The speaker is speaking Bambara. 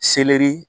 Seleri